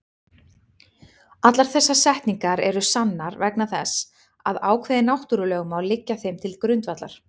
Allar þessar setningar eru sannar vegna þess að ákveðin náttúrulögmál liggja þeim til grundvallar.